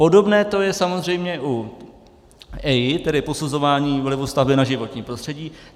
Podobné to je samozřejmě u EIA, tedy posuzování vlivu stavby na životní prostředí.